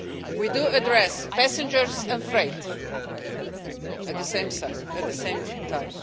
We do address passengers and freight at the same time.